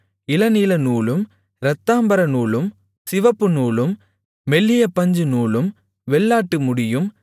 இளநீலநூலும் இரத்தாம்பரநூலும் சிவப்புநூலும் மெல்லிய பஞ்சுநூலும் வெள்ளாட்டு முடியும்